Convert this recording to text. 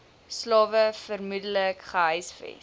slawe vermoedelik gehuisves